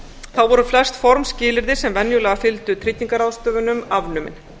þá voru flest formskilyrði sem venjulega fylgdu tryggingarráðstöfunum afnumin